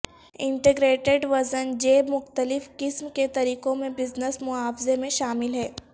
integrated وزن جیب مختلف قسم کے طریقوں میں بزنس معاوضہ میں شامل ہیں